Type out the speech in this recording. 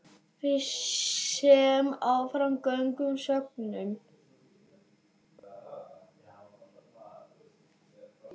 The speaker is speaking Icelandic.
Við sem áfram göngum söknum.